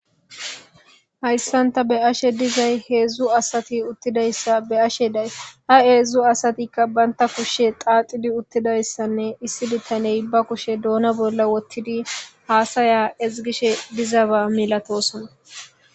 Hayisan ta beashe deizay heedzdzu asati utizayisa beashe deayisi ayis ha heedzdzu asatika kushia xaxidi utidayisianne issi bitane ba kushe duna bola wotidi hasaya ezigishe diza ba milatosona.